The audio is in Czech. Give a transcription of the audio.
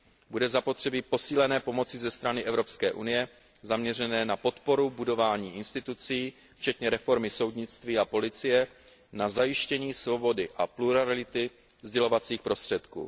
Bude zapotřebí posílené pomoci ze strany EU zaměřené na podporu budování institucí včetně reformy soudnictví a policie a na zajištění svobody a plurality sdělovacích prostředků.